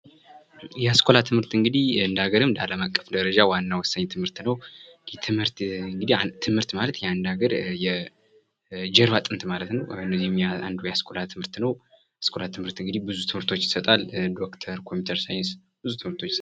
የአስኳላ ትምህርት እንግዲህ እንደ ሀገርም እንደ ዓለምም አቀፍ ደረጃ ዋና ወሳኝ ትምህርት ነው። ይህ ትምህርት እንግዲህ ትምህርት ማለት የአንድ ሀገር የጀርባ አጥንት ማለት ነው። የአሰኳላ ትምህርት ነው። የአስኳላ ትምህርት እንግዲህ ብዙ ትምህርቶቾ ይሰጣል ዶክተር፥ ኮምፕዩተር ሳይንስ ብዙ ትምህርቶች ይሰጣል።